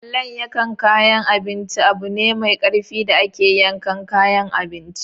Allon yakan kayan abinci abune mai karfi da ake yankan kayan abinci.